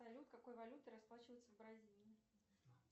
салют какой валютой расплачиваются в бразилии